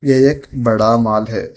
ये एक बड़ा मॉल है।